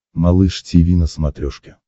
малыш тиви на смотрешке